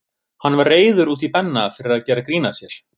Hann var reiður út í Benna fyrir að gera grín að sér.